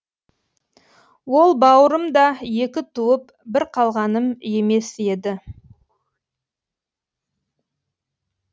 ол бауырым да екі туып бір қалғаным емес еді